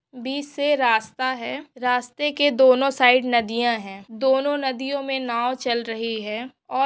इसे रास्ता है रास्ते के दोनों साइड नदियाँ है दोनों नदियोंमें नाव चल रही है। और--